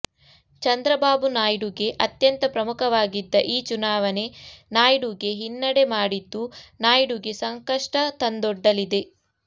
ಚಂದ್ರಬಾಬು ನಾಯ್ಡು ಗೆ ಅತ್ಯಂತ ಪ್ರಮುಖವಾಗಿದ್ದ ಈ ಚುನಾವಣೆ ನಾಯ್ಡು ಗೆ ಹಿನ್ನಡೆ ಮಾಡಿದ್ದು ನಾಯ್ಡುಗೆ ಸಂಕಷ್ಟ ತಂದೊಡ್ಡಲಿದೆ